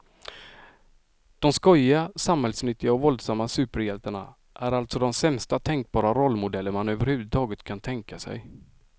De skojiga, samhällsnyttiga och våldsamma superhjältarna är alltså de sämsta tänkbara rollmodeller man överhuvudtaget kan tänka sig.